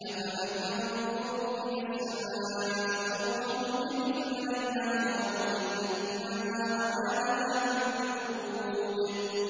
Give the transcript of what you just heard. أَفَلَمْ يَنظُرُوا إِلَى السَّمَاءِ فَوْقَهُمْ كَيْفَ بَنَيْنَاهَا وَزَيَّنَّاهَا وَمَا لَهَا مِن فُرُوجٍ